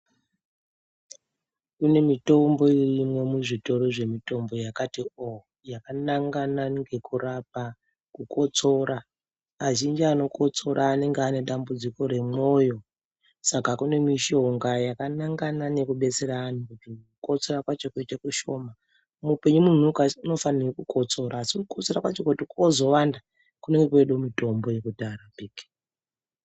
Kune mitombo irimo mu zvitoro zve mutombo yakati oo yakanangana nezve kurapa kukotsora azhinji ano kotsora anenge ane dambudziko re moyo saka kune mishonga yaka nangana neku betsera antu ku kotsora kwacho kuite kushoma mu upenyu munhu anofanira ku kotsora asi ku kotsora kwacho kozo wanda unonga woda mutombo we kudhara.